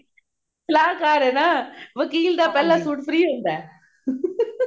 ਸਲਾਹਕਾਰ ਹੈ ਨਾ ਵਕੀਲ ਦਾ ਪਹਿਲਾ ਸੂਟ free ਹੁੰਦਾ